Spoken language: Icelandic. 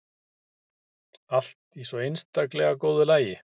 Allt í svo einstaklega góðu lagi.